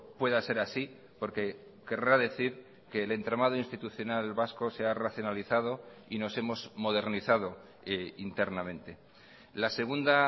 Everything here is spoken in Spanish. pueda ser así porque querrá decir que el entramado institucional vasco se ha racionalizado y nos hemos modernizado internamente la segunda